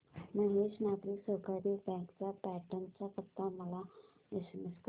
Mahesh Nagari Sahakari bank चा पैठण चा पत्ता मला एसएमएस कर